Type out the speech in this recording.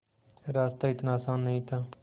रास्ता इतना आसान नहीं था